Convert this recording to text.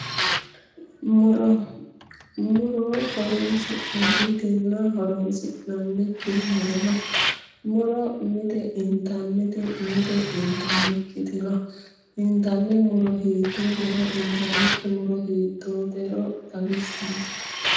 Muro, muro horoonsi'nannitinna horoonsi'nannikki muro no. Muro mite intannite mite intannikkiti no. Intanni muro hiittootero intannikki muro hiittootero xawissenke.